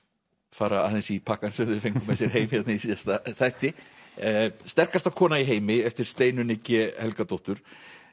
fara aðeins í pakkann sem þau fengu með sér heim í síðasta þætti sterkast kona í heimi eftir Steinunni g Helgadóttur